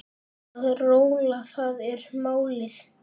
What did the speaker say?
Að róla, það er málið.